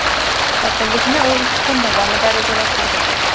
Qotillikni u ikki kun davomida rejalashtirgan.